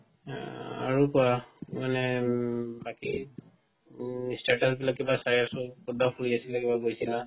অ আৰু কোৱা মানে আ বাকি উম status বিলাক কিবা চাই আছো কতবা ফুৰি আছিলে কিবাত গৈছিলা